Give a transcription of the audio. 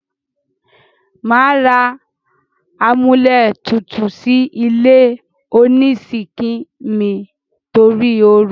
Màá ra amúlétutù sí ilé onísíńkì mi torí oru.